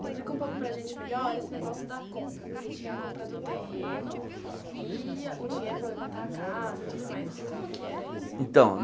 Explica um pouco para a gente melhor esse negócio da compra, porque tinha a compra do terreno e o dinheiro para levantar a casa e tudo mais. Como é que era isso Então